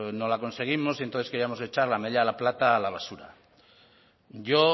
no la conseguimos y entonces queríamos echar la medalla de plata a la basura yo